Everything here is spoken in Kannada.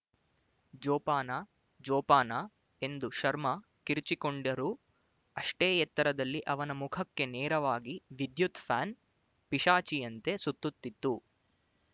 ಜೋಪಾನ ಜೋಪಾನ ಎಂದು ಶರ್ಮ ಕಿರುಚಿಕೊಂಡರು ಅಷ್ಟೇ ಎತ್ತರದಲ್ಲಿ ಅವನ ಮುಖಕ್ಕೆ ನೇರವಾಗಿ ವಿದ್ಯುತ್ ಫ್ಯಾನ್ ಪಿಶಾಚಿಯಂತೆ ಸುತ್ತುತ್ತಿತ್ತು